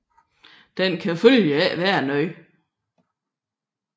Den kan følgelig ikke være noget